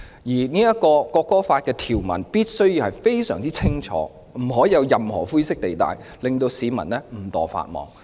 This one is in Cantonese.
因此本地國歌法的條文必須非常清晰，不能有任何灰色地帶，令市民誤墮法網。